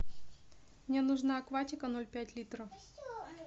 мне нужна акватика ноль пять литров